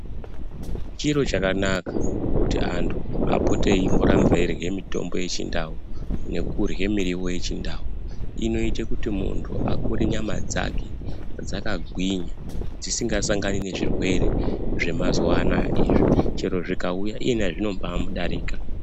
Chiro chakanaka, kuti antu apote eimboramba eirye mitombo yechindau nekurye muriwo yechindau. Inoite kuti muntu akure nyama dzake dzakagwinya dzisingasangani nezvirwere zvemazuwa anaya izvi chero zvikauya iyena zvinombamudarika.